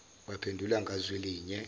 baphendule ngazwi linye